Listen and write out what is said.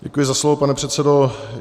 Děkuji za slovo, pane předsedo.